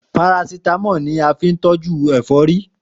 Parasítámọ̀ la fín tọ́jú ẹ̀fọ́rí